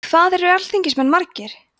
hvað eru alþingismenn margir